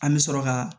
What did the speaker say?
An bɛ sɔrɔ ka